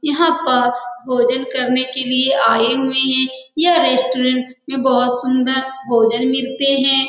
यहाँ पर भोजन करने के लिए आए हुए है यह रेस्टोरेंट में बहुत सुन्दर भोजन मिलते है।